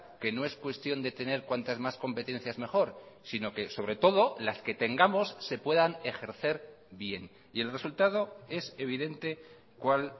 que no es cuestión de tener cuantas más competencias mejor sino que sobre todo las que tengamos se puedan ejercer bien y el resultado es evidente cuál